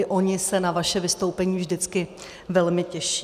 I oni se na vaše vystoupení vždycky velmi těší.